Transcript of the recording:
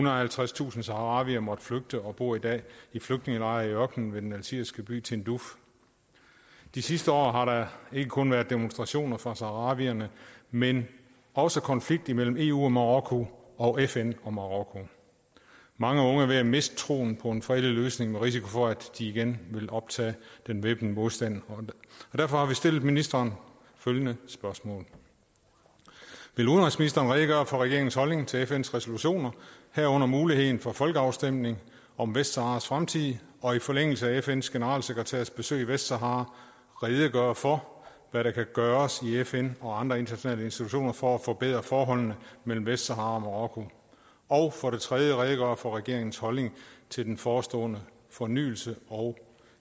og halvtredstusind saharawier måtte flygte og bor i dag i flygtningelejre i ørkenen ved den algeriske by tindouf de sidste år har der ikke kun været demonstrationer for saharawierne men også konflikt imellem eu og marokko og fn og marokko mange unge er ved at miste troen på en fredelig løsning med risiko for at de igen vil optage den væbnede modstand derfor har vi stillet ministeren følgende spørgsmål vil udenrigsministeren redegøre for regeringens holdning til fns resolutioner herunder muligheden for folkeafstemning om vestsaharas fremtid og i forlængelse af fns generalsekretærs besøg i vestsahara redegøre for hvad der kan gøres i fn og andre internationale institutioner for at forbedre forholdet mellem vestsahara og marokko og redegøre for regeringens holdning til den forestående fornyelse og